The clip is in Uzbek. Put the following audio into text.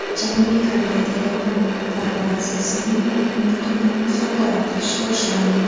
Janubiy Koreyada yapon korporatsiyasining mulkini musodara qilish boshlandi.